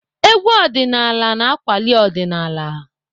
Egwú ọdịnaala na-akwali ọdịnaala.